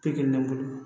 Pikiri ne bolo